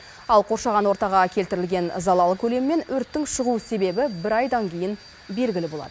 ал қоршаған ортаға келтірілген залал көлемі мен өрттің шығу себебі бір айдан кейін белгілі болады